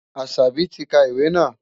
Asabi ti ka ìwé náà.